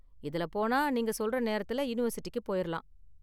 இதுல போனா நீங்க சொல்ற நேரத்துல யூனிவர்சிட்டிக்கு போயிறலாம்.